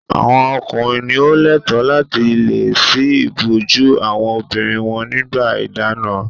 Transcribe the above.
Àwọn ọkùnrin ni ó lẹ́ẹ̀tọ́ láti le ṣí ìbòjú àwọn obìnrin wọn nígbà ìdáná.